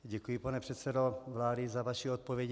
Děkuji, pane předsedo vlády, za vaši odpověď.